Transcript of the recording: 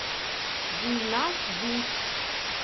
гульназ бусс